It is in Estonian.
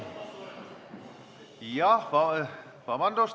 Jah, vabandust!